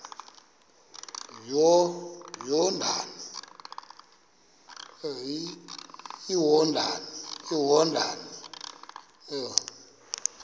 iyordane